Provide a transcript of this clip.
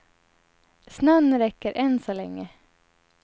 Snön räcker, än så länge.